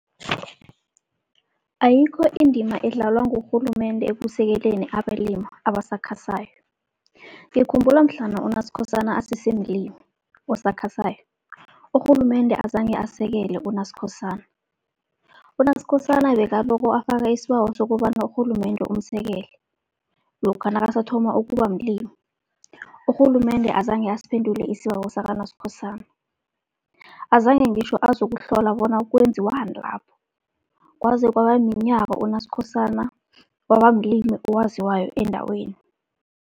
Ayikho indima edlalwa ngurhulumende ekusekeleni abalima abasakhasako. Ngikhumbula mhlana uNaSikhosana asesemlimi osakhasako, urhulumende azange asekele uNaSikhosana. UNaSikhosana bekaloko afaka isibawo sokobana urhulumende umsekele, lokha nakasathoma ukuba mlimi. Urhulumende azange asiphendule isibawo sakaNaSikhosana, azange ngitjho azokuhlola bona kwenziwani lapho. Kwaze kwaba minyaka uNaSikhosana, waba mlimi owaziwako endaweni.